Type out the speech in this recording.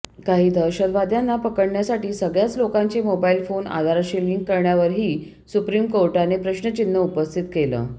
काही दहशतवाद्यांना पकडण्यासाठी सगळ्याच लोकांचे मोबाइल फोन आधारशी लिंक करण्यावरही सुप्रीम कोर्टाने प्रश्नचिन्ह उपस्थित केलं